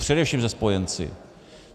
Především se spojenci.